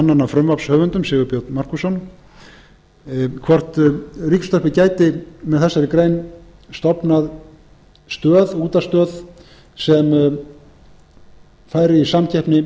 annan af frumvarpshöfundum sigurbjörn magnússon hvort ríkisútvarpið gæti með þessari grein stofnað útvarpsstöð sem færi í samkeppni